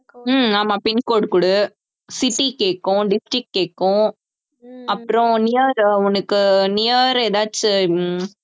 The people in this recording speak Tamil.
ஹம் ஆமா pincode குடு city கேக்கும் district கேக்கும் அப்புறம் near உ உனக்கு near ஏதாச்சும்